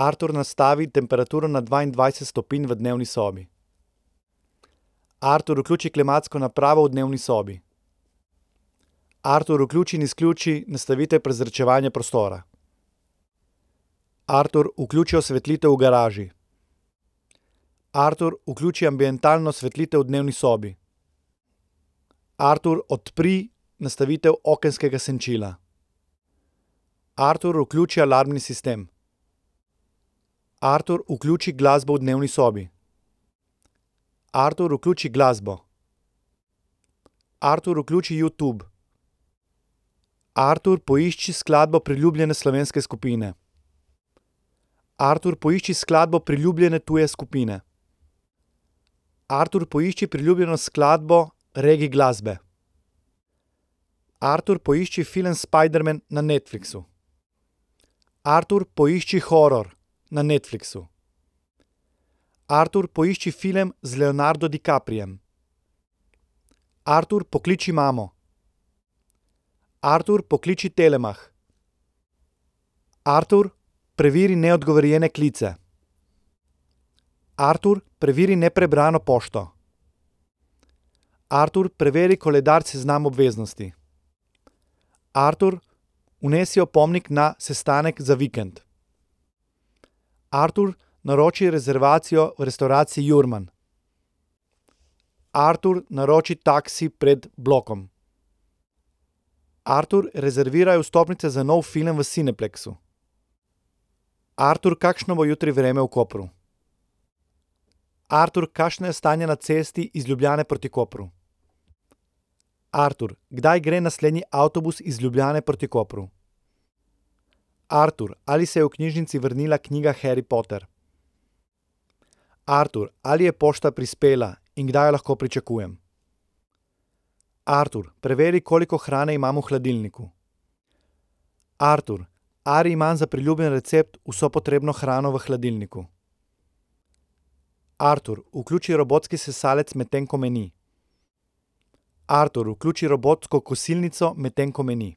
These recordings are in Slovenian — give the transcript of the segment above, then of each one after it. Artur, nastavi temperaturo na dvaindvajset stopinj v dnevni sobi. Artur, vključi klimatsko napravo v dnevni sobi. Artur, vključi in izključi nastavitve prezračevanja prostora. Artur, vključi osvetlitev v garaži. Artur, vključi ambientalno osvetlitev v dnevni sobi. Artur, odpri nastavitev okenskega senčila. Artur, vključi alarmni sistem. Artur, vključi glasbo v dnevni sobi. Artur, vključi glasbo. Artur, vključi Youtube. Artur, poišči skladbo priljubljene slovenske skupine. Artur, poišči skladbo priljubljene tuje skupine. Artur, poišči priljubljeno skladbo reggae glasbe. Artur, poišči film Spiderman na Netflixu. Artur, poišči horror na Netflixu. Artur, poišči film z Leonardo DiCapriem. Artur, pokliči mamo. Artur, pokliči Telemach. Artur, preveri neodgovorjene klice. Artur, preveri neprebrano pošto. Artur, preveri koledar seznam obveznosti. Artur, vnesi opomnik na sestanek za vikend. Artur, naroči rezervacijo v restavraciji Jurman. Artur, naroči taksi pred blokom. Artur, rezerviraj vstopnice za nov film v Cineplexxu. Artur, kakšno bo jutri vreme v Kopru? Artur, kakšno je stanje na cesti iz Ljubljane proti Kopru? Artur, kdaj gre naslednji avtobus iz Ljubljane proti Kopru? Artur, ali se je v knjižnici vrnila knjiga Harry Potter? Artur, ali je pošta prispela in kdaj jo lahko pričakujem? Artur, preveri, koliko hrane imam v hladilniku. Artur, ali imam za priljubljeni recept vso potrebno hrano v hladilniku? Artur, vključi robotski sesalec, medtem ko me ni. Artur, vključi robotsko kosilnico, medtem ko me ni.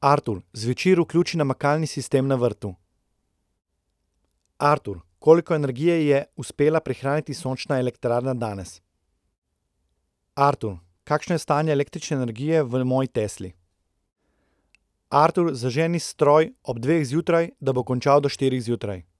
Artur, zvečer vključi namakalni sistem na vrtu. Artur, koliko energije je uspela prihraniti sončna elektrarna danes? Artur, kakšno je stanje električne energije v moji Tesli? Artur, zaženi stroj ob dveh zjutraj, da bo končal do štirih zjutraj.